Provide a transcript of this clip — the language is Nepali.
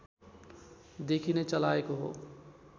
देखि नै चलाएको हो